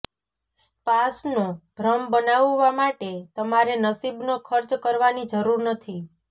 સ્પાસનો ભ્રમ બનાવવા માટે તમારે નસીબનો ખર્ચ કરવાની જરૂર નથી